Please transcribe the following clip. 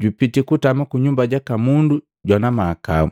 jupiti kutama kunyumba jaka mundu jwana mahakau.”